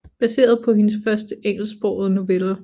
Baseret på hendes første engelsksprogede novelle